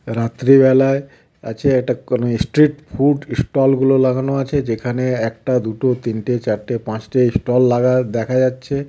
রাত্রিবেলায় আছে এটা কোনও স্ট্রিট ফুড স্টলগুলো লাগানো আছে যেখানে একটা দুটো তিনটে চারটে পাঁচটি স্টল লাগা দেখা যাচ্ছে.